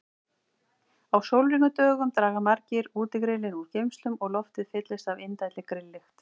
Á sólríkum dögum draga margir útigrillin úr geymslum og loftið fyllist af indælli grilllykt.